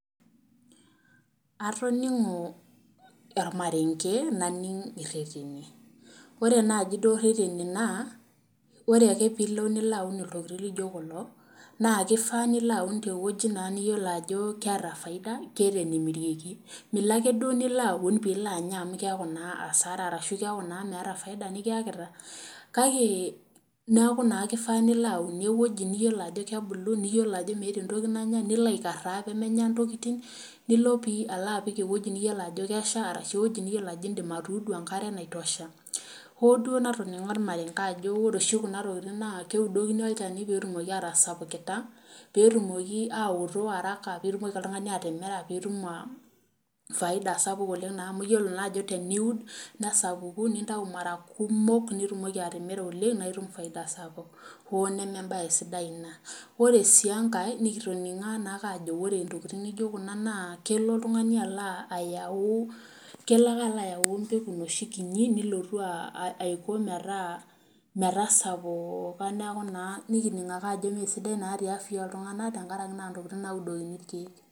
Atoningo ormarenge naning ireteni ,ore naaji duo reteni naa ore ake naaji pee ilo aun oltungani ltokiting laijo kulo naa kifaa nilo aun teweji niyiolou ajo keeta faida ,keeta enemirieki ,Milo ake duo pee ilo aun pee ilo anya amu keeku asara amu keeku meeta naa faida nikiyakita .kake kifaa naa nilo aunie eweji niyiolo ajo kebulu niyiolo ajo meetae entoki nanyae nilo aikaraa pee menya ntokiting, nilo apik eweji niyiolou ajo Kesha orashu eweji nidim atuudu enkare naitosha .ho duo natonigo ormarenge ajo ore kuna tokiting naa keudokini olchani opee etumoki atasapukita meetumoki aooto araka pee etumoki oltungani atimira pee itum faida naa sapuk amu iyiolo ajo teniun ,nesapuku nitau mara kumok nitumoki atimira oleng naa itum faida sapuk. hoo neme ebae sidai ina ,ore sii enkae nikitoningo ake ajo ore ntokiting naijo kuna naakelo ake oltungani alo ayau enoshi pegu kinyi nilotu aiko metasapuka neeku naa nikining ake ajo mesidai the afya oltungani tenakaraki naa neudokini irkeek.